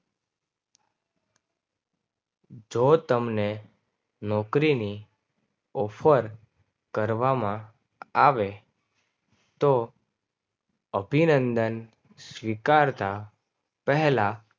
જો તમને નોકરીની ઓફર કરવામાં આવે તો અભિનંદન સ્વીકારતા પહેલા